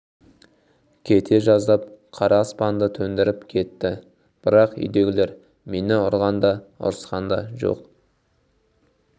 кете жаздап қара аспанды төндіріп кетті бірақ үйдегілер мені ұрған да ұрысқан да жоқ